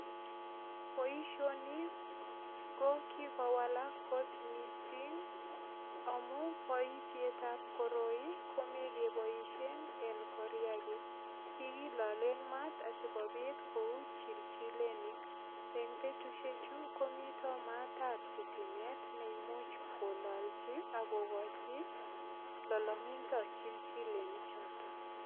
Boisioni ko kikowalak kot mising amu boisietab koroi komekeboisien en koriagi. Kikilolen mat asigopit kou chilchilenik. En betusiechu komito maatabsitimet ne imuch kololchi ak kokochi lolongindo chilchileni choto.